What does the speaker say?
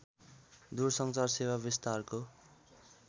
दूरसञ्चार सेवा विस्तारको